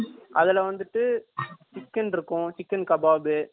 அதுல வந்துட்டு சிக்கென் இருக்கும் சிக்கென் கபாப்